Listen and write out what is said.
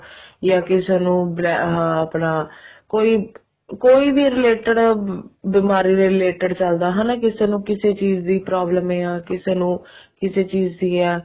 ਜਾਂ ਕਿਸੇ ਨੂੰ ਆਹ ਆਪਣਾ ਕੋਈ ਵੀ related ਬਿਮਾਰੀ ਦੇ related ਚੱਲਦਾ ਹਨਾ ਕਿਸੇ ਨੂੰ ਕਿਸੇ ਚੀਜ਼ ਦੀ problem ਆ ਕਿਸੇ ਨੂੰ ਕਿਸੇ ਚੀਜ਼ ਦੀ ਆ